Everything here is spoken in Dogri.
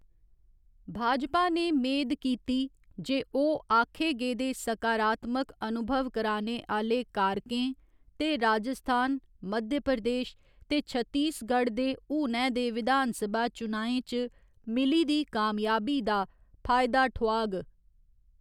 भाजपा ने मेद कीती जे ओह्‌‌ आक्खे गेदे सकारात्मक अनुभव कराने आह्‌‌‌ले कारकें ते राजस्थान, मध्य प्रदेश ते छत्तीसगढ़ दे हुनै दे विधानसभा चुनाएं च मिली दी कामयाबी दा फायदा ठोआग।